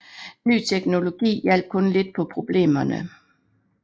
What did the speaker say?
Ny teknologi hjalp kun lidt på problemerne